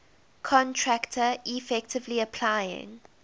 contractor effectively applying